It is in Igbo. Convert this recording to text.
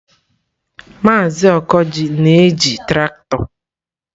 Maazị Okoji na-eji traktọ?